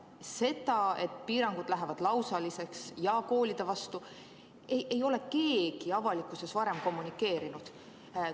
Seda, et piirangud lähevad lausaliseks ja koolide vastu, ei ole keegi avalikkuses varem kommunikeerinud.